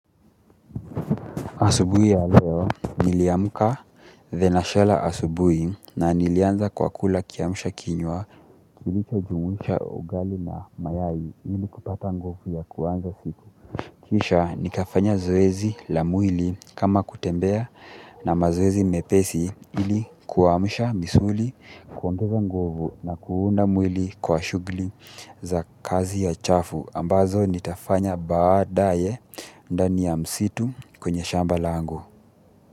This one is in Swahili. Asubuhi ya leo niliamka mapema asubuhi na nilianza kwa kula kiamsha kinywa kilichojumuisha ugali na mayai ili kupata nguvu ya kuanza siku. Kisha nikafanya zoezi la mwili kama kutembea na mazoezi mepesi ili kuamsha misuli kuongeza nguvu na kuunda mwili kwa shughuli za kazi chafu ambazo nitafanya baadaye. Ndani ya msitu kwenye shamba langu.